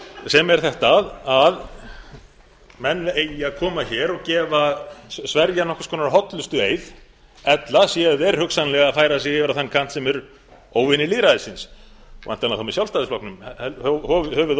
sem er þetta að menn eigi að koma hér og sverja nokkurs konar hollustueið ella séu þeir hugsanlega að færa sig yfir á þann kant sem er óvinir lýðræðisins væntanlega þá með sjálfstæðisflokknum höfuðóvini